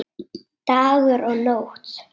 Dagur og Nótt.